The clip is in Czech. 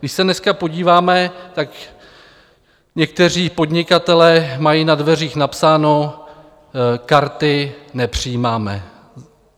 Když se dneska podíváme, tak někteří podnikatelé mají na dveřích napsáno: Karty nepřijímáme.